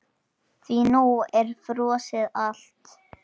Því nú er frosið allt?